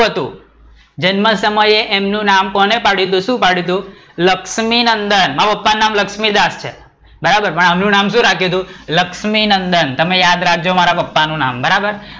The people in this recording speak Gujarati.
શું હતું? જન્મ સમયે એમનું નામ કોને પાડયું હતું શું પાડયું હતું? લક્ષ્મીનંદન, મારા પપ્પા નું નામ લક્ષ્મીદાસ છે બરાબર પણ આમનું નામ શું રાખ્યું હતું લક્ષ્મીનંદન, તમે યાદ રાખજો મારા પપ્પા નું નામ બરાબર.